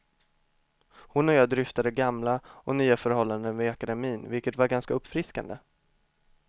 Hon och jag dryftade gamla och nya förhållanden vid akademien, vilket var ganska uppfriskande.